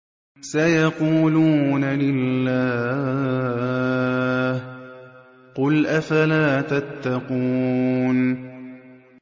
سَيَقُولُونَ لِلَّهِ ۚ قُلْ أَفَلَا تَتَّقُونَ